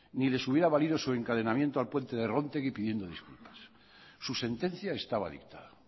ni les hubiera valido su encadenamiento al puente de róntegui pidiendo disculpas su sentencia estaba dictada